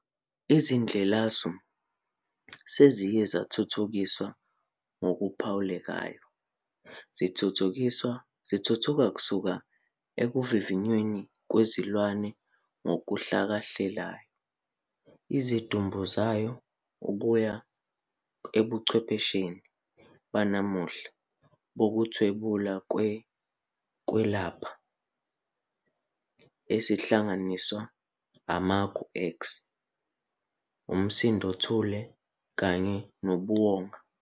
Izindlelasu seziye zathuthukiswa ngokuphawulekayo, zithuthuka kusuka ekuvivinyweni kwezilwane ngokuhlakahlela izidumbu zazo kuya ebuchwephesheni banamuhla bokuthwebula kwezokwelapha, ezihlanganisa amagu-X, umsindothule kanye nobuwonga.